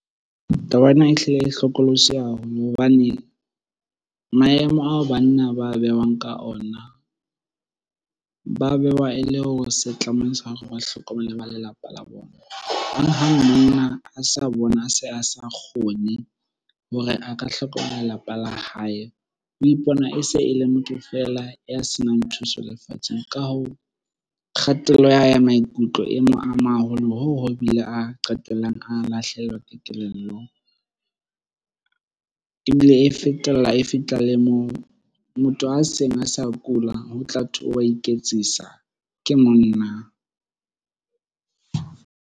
Taba ena ehlile e hlokolosi haholo hobane maemo ao banna ba beuwang ka ona, ba bewa e le o setlamong sa hore ba hlokomele ba lelapa la bona. Hang-hang monna a sa bona se a se a kgone hore a ka hlokomela lelapa la hae, o ipona e se e le motho feela ya senang thuso lefatsheng. Ka hoo, kgatello ya hae ya maikutlo e mo ama haholo hoo ho bile a qetellang a lahlehelwa ke kelello. Ebile e fetella, e fitla le moo motho a seng a sa kula ho tla thwe wa iketsisa, ke monna.